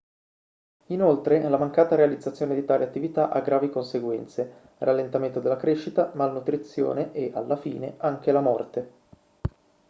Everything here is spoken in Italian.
inoltre la mancata realizzazione di tali attività ha gravi conseguenze rallentamento della crescita malnutrizione e alla fine anche la morte